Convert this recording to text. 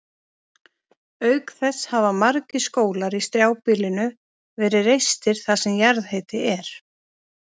Auk þess hafa margir skólar í strjálbýlinu verið reistir þar sem jarðhiti er.